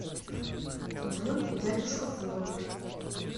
бронь дядюшка фуго